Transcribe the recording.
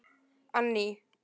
Anný